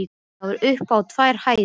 Það var upp á tvær hæðir.